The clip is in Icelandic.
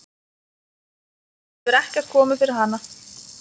andi hefur ekkert komið fyrir hana.